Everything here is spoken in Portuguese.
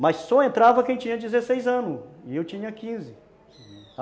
Mas só entrava quem tinha dezesseis anos, e eu tinha quinze